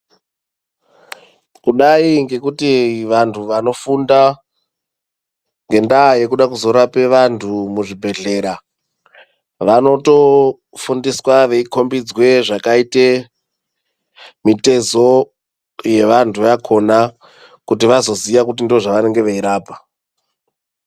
Kudai ngekuti vantu vano funda ngenda yekuda kuzo rape vantu muzvi bhedhlera vanoto fundiswa vei kombidzwe zvaka ite mitizo ye vantu vakona kuti vazo ziya kuti ndo zvavanenge vei rapa.